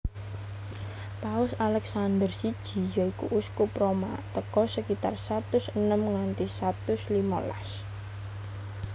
Paus Alèxandèr siji yoiku Uskup Roma tèko sekitar satus enem nganti satus limolas